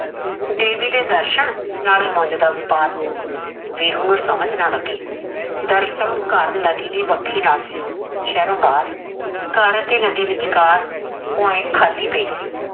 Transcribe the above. ਦੈਵੀ ਦੇ ਦਰਸ਼ਨ ਨਾਲੇ ਮੰਜ ਦਾ ਵਪਾਰ ਵੀਰੂ ਨੂ ਸਮਝ ਨਾ ਲੱਗੇ ਦਰਸਲ ਘਰ ਨਦੀ ਦੀ ਵਖੀ ਨਾਲ ਸੀ ਸ਼ੇਰੋ ਬਹਾਰ ਘਰ ਅਤੇ ਨਦੀ ਦੇ ਵਿਚਕਾਰ ਪੋਇੰਟ ਖਾਲੀ ਪੇਈ ਸੀ